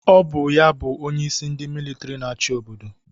Ọ bụ ya bụ onyeisi ndị militri na-achị obodo